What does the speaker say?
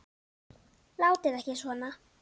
Látið ekki svona.